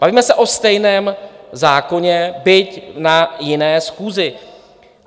Bavíme se o stejném zákoně, byť na jiné schůzi.